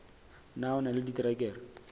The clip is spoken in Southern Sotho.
na o na le diterekere